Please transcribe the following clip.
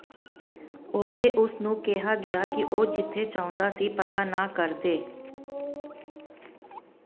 ਉੱਥੇ ਉਸ ਨੂੰ ਕਿਹਾ ਗਿਆ ਕਿ ਉਹ ਜਿੱਥੇ ਚਾਹੁੰਦਾ ਸੀ ਪਤਾ ਨਾ ਕਰਦੇ